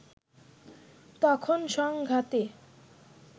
তখন সংঘাতে